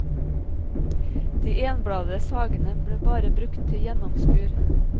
De enbladede sagene ble bare brukt til gjennomskur.